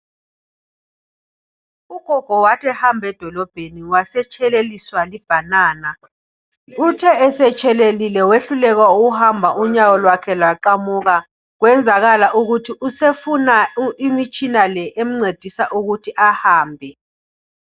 Ugogo wathi ehamba edolobheni wasetsheleliswa libhanana, uthe esetshelelile wehluleka ukuhamba unyawo lwakhe lwaqamuka kwenzakala ukuthi usefuna imitshina le emncedisa ukuthi ahambe.